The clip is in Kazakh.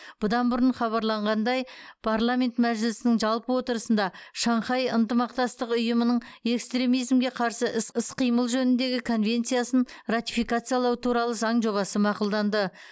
бұдан бұрын хабарланғандай парламент мәжілісінің жалпы отырысында шанхай ынтымақтастық ұйымының экстремизмге қарсы іс іс қимыл жөніндегі конвенциясын ратификациялау туралы заң жобасы мақұлданды